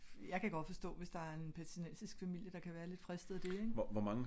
Jeg kan godt forstå hvis der er en palæstinensisk familie der kan være lidt fristet af det ik